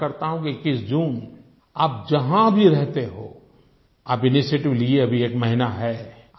मैं आशा करता हूँ 21 जून आप जहाँ भी रहते हों आपके इनिशिएटिव के लिए अभी एक महीना है